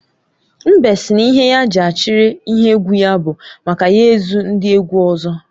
Mbe sị na ihe ya ji achiri ihe egwu ya bụ maka ya ezu ndị egwu ọzọ